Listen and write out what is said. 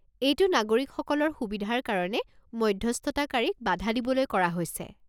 এইটো নাগৰিকসকলৰ সুবিধাৰ কাৰণে মধ্যস্থতাকাৰীক বাধা দিবলৈ কৰা হৈছে।